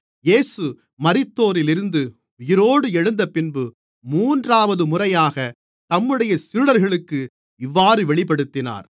இயேசு மரித்தோரிலிருந்து உயிரோடு எழுந்தபின்பு மூன்றாவது முறையாக தம்முடைய சீடர்களுக்கு இவ்வாறு வெளிப்படுத்தினார்